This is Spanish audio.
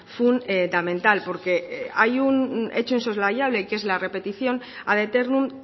fundamental porque hay un hecho insoslayable que es la repetición ad eternum